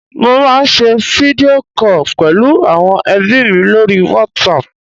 mo ma n se video call pẹlu awon ebi mi lori WhatsApp